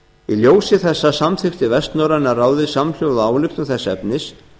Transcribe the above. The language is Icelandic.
í ljósi þessa samþykkti vestnorræna ráðið samhljóða ályktun þess efnis